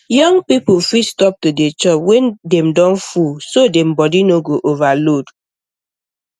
young people fit stop to dey chop when dem don full so dem body no go overload